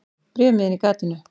Bréfmiðinn í gatinu.